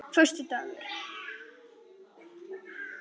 föstudagur